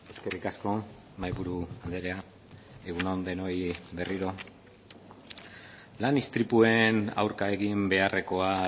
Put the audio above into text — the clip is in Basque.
eskerrik asko mahaiburu andrea egun on denoi berriro lan istripuen aurka egin beharrekoa